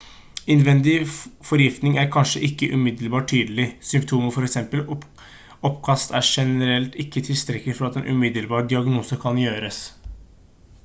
innvendig forgiftning er kanskje ikke umiddelbart tydelig symptomer for eksempel oppkast er generelt ikke tilstrekkelig for at en umiddelbar diagnose kan gjøres